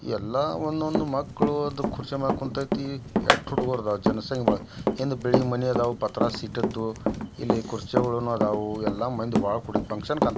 ಎಲ್ಲ ಒನ್ನದೊಂದ ಮಕ್ಳು ಕೂರ್ಚೆ ಮ್ಯಾಲ್ ಕುಂತೇತಿ ಎಟ್ ಹುಡಗೋರ್ ಜನಸಂಖ್ಯೆ ಬಾಳ ಹಿಂದ್ ಮನೀ ಅದಾವ ಪಾತ್ರಸ ಇಟ್ಟಿದ್ದು ಇಲ್ಲಿ ಕುರ್ಚೆ ಗೋಳನು ಆದವು ಎಲ್ಲ ಮಂದಿ ಬಾಳ ಕೂಡೇತಿ ಫುನ್ಕ್ಷನ್ --